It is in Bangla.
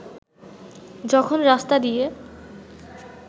যখন রাস্তা দিয়ে